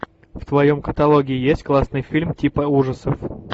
в твоем каталоге есть классный фильм типа ужасов